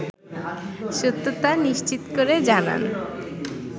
সত্যতা নিশ্চিত করে জানান